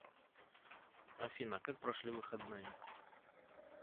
афина как прошли выходные